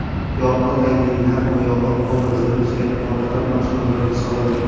Yorqin rangli lab bo‘yog‘i obrazni buzgan holatlar mashhurlar misolida .